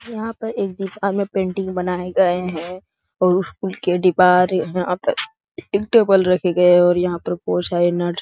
यहाँ पर एक दिशा में पेंटिंग बनाये गए हैं उ स्कूल के दीवार यहाँ पे एक टेबल रखे गए हैं और यहां पे बहुत सारे नट --